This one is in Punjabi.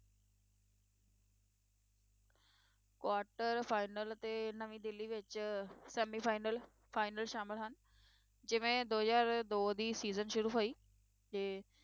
Quarter final ਅਤੇ ਨਵੀਂ ਦਿੱਲੀ ਵਿੱਚ semifinal final ਸ਼ਾਮਲ ਹਨ, ਜਿਵੇਂ ਦੋ ਹਜ਼ਾਰ ਦੋ ਦੀ season ਸ਼ੁਰੂ ਹੋਈ ਤੇ